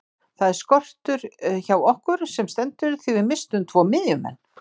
Það er skortur hjá okkur sem stendur því við misstum tvo miðjumenn.